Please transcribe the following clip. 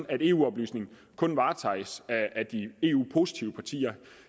at eu oplysningen kun varetages af de eu positive partier